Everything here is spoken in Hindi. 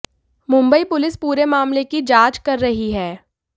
मुंबई पुलिस पूरे मामले की जांच कर रही है